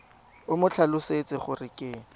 o mo tlhalosetse gore ke